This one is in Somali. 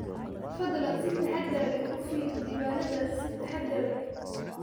Fadlan si taxaddar leh u fiiri diiwaannadaas si taxaddar leh.